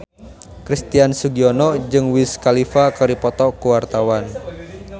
Christian Sugiono jeung Wiz Khalifa keur dipoto ku wartawan